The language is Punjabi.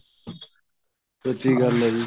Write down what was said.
ਸੱਚੀ ਗੱਲ ਏ ਜੀ